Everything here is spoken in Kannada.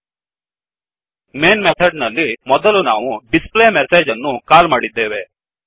ಮೈನ್ ಮೇನ್ ಮೆಥಡ್ನಲ್ಲಿ ಮೊದಲು ನಾವು displayMessageಡಿಸ್ ಪ್ಲೇ ಮೆಸೇಜ್ ಅನ್ನು ಕಾಲ್ ಮಾಡಿದ್ದೇವೆ